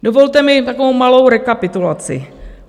Dovolte mi takovou malou rekapitulaci.